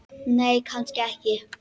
Nei, kannski ekki.